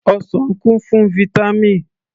Ọsàn kún fún Vítámì